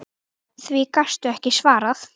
Því gastu ekki svarað.